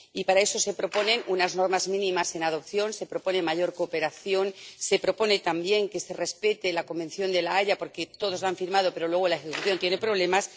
Y para eso se proponen unas normas mínimas en adopción, se propone mayor cooperación, se propone, también, que se respete la Convención de La Haya, porque todos la han firmado, pero luego en la ejecución hay problemas.